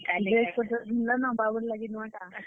dress ପତର୍ ଘିନ୍ ଲନ ବାବୁର୍ ଲାଗି ନୁଆଁ ଟା?